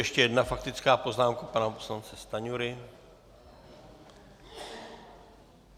Ještě jedna faktická poznámka pana poslance Stanjury.